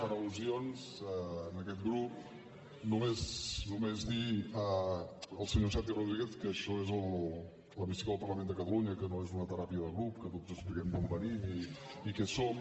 per al·lusions a aquest grup només dir al senyor santi rodríguez que això és l’hemicicle del parlament de catalunya que no és una teràpia de grup que tots expliquem d’on venim i què som